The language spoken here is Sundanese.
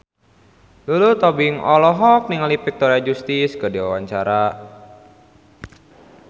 Lulu Tobing olohok ningali Victoria Justice keur diwawancara